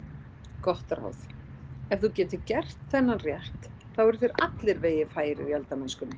Gott ráð: Ef þú getur gert þennan rétt eru þér allir vegir færir í eldamennskunni.